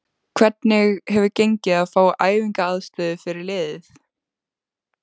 Hvernig hefur gengið að fá æfingaaðstöðu fyrir liðið?